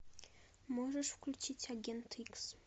можешь включить агент икс